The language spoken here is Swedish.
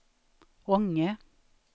Ånge